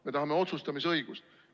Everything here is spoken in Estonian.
Me tahame otsustamisõigust.